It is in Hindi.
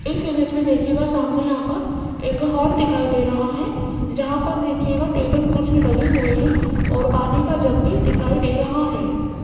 इस इमेज में देखिएगा सामने यहां पर एक हॉल दिखाई दे रहा है जहां पर देखिएगा टेबल कुर्सी लगे हुए है और पानी का जग भी दिखाई दे रहा है।